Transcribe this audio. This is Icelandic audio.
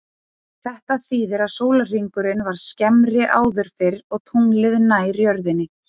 Þetta þýðir að sólarhringurinn var skemmri áður fyrr og tunglið nær jörðinni.